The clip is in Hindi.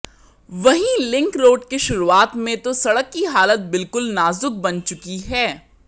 वहीं लिंक रोड के शुरुआत में तो सड़क की हालत बिलकुल नाजुक बन चुकी है